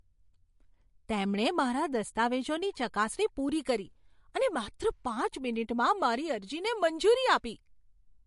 તેમણે મારા દસ્તાવેજોની ચકાસણી પૂરી કરી અને માત્ર પાંચ મિનિટમાં મારી અરજીને મંજૂરી આપી!